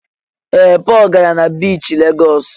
Ee! Pọl gara na biichi Legọs.